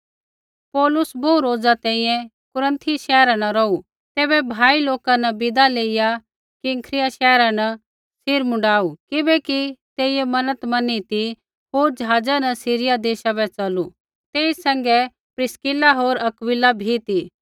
पौलुस बोहू रोज़ा तैंईंयैं कुरन्थी शैहरा न रौहू तैबै भाई लोका न विदा लेइया किंख्रिया शैहरा न सिर मुँडाऊ किबैकि तेइयै मन्नत मैनी ती होर ज़हाज़ा न सीरिया देशा बै च़लू तेई सैंघै प्रिस्किला होर अक्विला भी ती